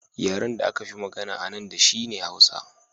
Yaren da aka fi magana a nan shi ne Hausa